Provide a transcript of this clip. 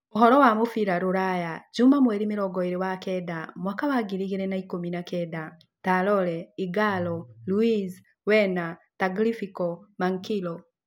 Ũhoro wa mũbira rũraya Juma mweri mĩrongo ĩĩrĩ wa kenda mwaka wa ngiri igĩrĩ na ikũmi na kenda: Traore, ighalo, Luiz, Werner, Tagliafico, Manquillo